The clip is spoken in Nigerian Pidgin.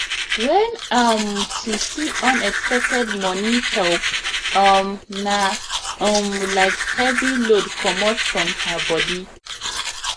when um she see unexpected money help um na um like heavy load comot from her body